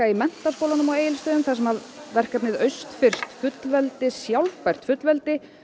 í Menntaskólanum á Egilsstöðum þar sem verkefnið austfirskt fullveldi sjálfbært fullveldi